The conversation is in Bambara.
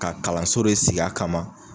Ka kalanso de sigi a kama.